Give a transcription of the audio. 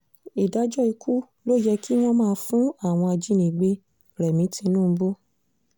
ìdájọ́ ikú ló yẹ kí wọ́n máa fún àwọn ajánigbé-rẹmi tinubu